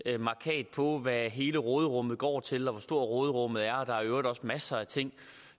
hvad hele råderummet går til og hvor stort råderummet er der er i øvrigt også masser af ting